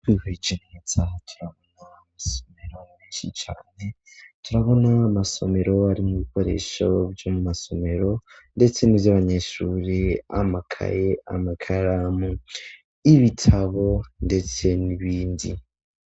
Iki turabona amasomero benshi cane turabona amasomero ari mu bikoresho vyomu masomero ndetse nivy'abanyeshure amakaye amakaramu y'ibitabo ndetse n'ibindi.